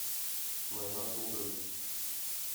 война пуговиц